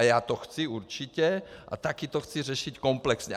A já to chci určitě a taky to chci řešit komplexně.